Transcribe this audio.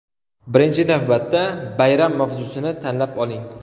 Birinchi navbatda bayram mavzusini tanlab oling.